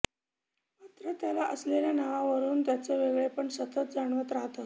मात्र त्याला असलेल्या नावावरून त्याचं वेगळेपण सतत जाणवत राहतं